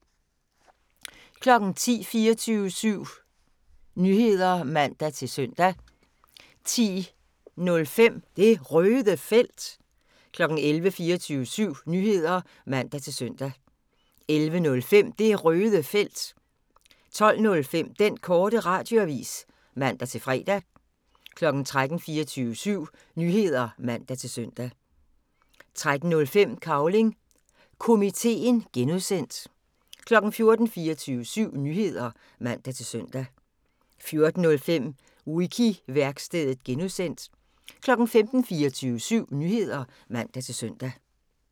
10:00: 24syv Nyheder (man-søn) 10:05: Det Røde Felt 11:00: 24syv Nyheder (man-søn) 11:05: Det Røde Felt 12:05: Den Korte Radioavis (man-fre) 13:00: 24syv Nyheder (man-søn) 13:05: Cavling Komiteen (G) 14:00: 24syv Nyheder (man-søn) 14:05: Wiki-værkstedet (G) 15:00: 24syv Nyheder (man-søn)